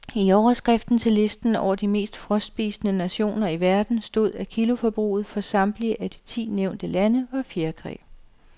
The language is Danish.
I overskriften til listen over de mest frostspisende nationer i verden stod, at kiloforbruget for samtlige af de ti nævnte lande var fjerkræ.